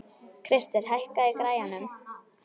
Krister, hækkaðu í græjunum.